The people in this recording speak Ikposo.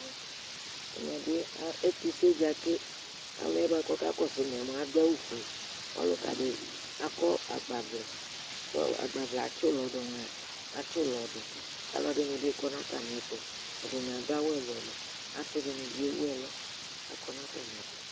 ɛtʊseɗjaɗɩ lanʊtɛ ɔlʊnʊ ɩɗjɔɗʊƙalʊƴɛ aɗʊ awʊ oƒʊe ʊlʊƙaɗɩ aƙɔ agɓaʋlɛ ʊlɔ ɛlʊ ɛlʊ laɗʊ ɔʋlɛ alʊɛɗɩnɩɓɩ ɗʊ ɛƒʊɛ atanɩaɗʊ awʊ ʊlɔ ɛlʊ ɛlʊ asɩɗɩnɩ ɓɩ ewʊ ɛlʊ aƙɔnʊ atamɩɛtʊ